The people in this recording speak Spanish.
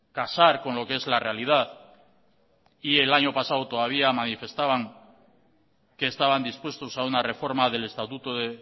casar con lo que es la realidad y el año pasado todavía manifestaban que estaban dispuestos a una reforma del estatuto de